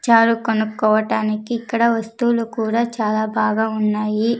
చారు కొనుక్కోవటానికి ఇక్కడ వస్తువులు కూడా చాలా బాగా ఉన్నాయి.